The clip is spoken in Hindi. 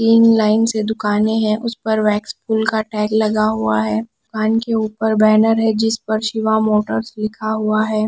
तीन लाइन से दुकानें हैं उस पर वैक्स पूल का टैग लगा हुआ है दुकान के ऊपर बैनर है जिस पर शिवा मोटर्स लिखा हुआ है।